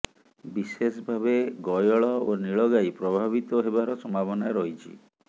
ବିଶେଷ ଭାବେ ଗୟଳ ଓ ନୀଳ ଗାଈ ପ୍ରଭାବିତ ହେବାର ସମ୍ଭାବନା ରହିଛି